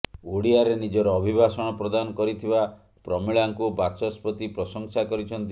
ଓଡ଼ିଆରେ ନିଜର ଅଭିଭାଷଣ ପ୍ରଦାନ କରିଥିବା ପ୍ରମିଳାଙ୍କୁ ବାଚସ୍ପତି ପ୍ରଶଂସା କରିଛନ୍ତି